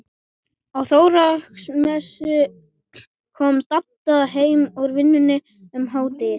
Á Þorláksmessu kom Dadda heim úr vinnunni um hádegið.